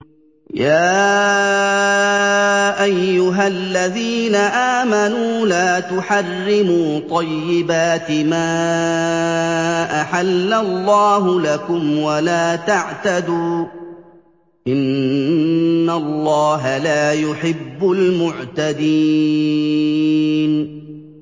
يَا أَيُّهَا الَّذِينَ آمَنُوا لَا تُحَرِّمُوا طَيِّبَاتِ مَا أَحَلَّ اللَّهُ لَكُمْ وَلَا تَعْتَدُوا ۚ إِنَّ اللَّهَ لَا يُحِبُّ الْمُعْتَدِينَ